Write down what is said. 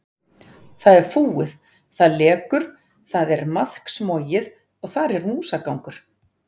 Það er fúið, það lekur, það er maðksmogið og þar er músagangur.